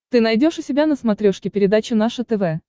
ты найдешь у себя на смотрешке передачу наше тв